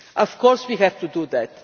Of course we have to do that.